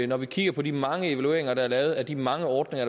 når vi kigger på de mange evalueringer der er lavet af de mange ordninger